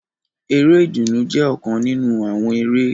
Eré ìdùnnú jẹ ọkan ninu awọn eré.